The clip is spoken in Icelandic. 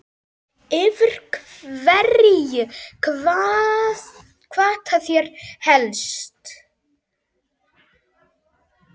Yfir hverju kvarta þeir helst?